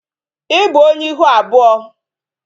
I bụ onye ihu abụọ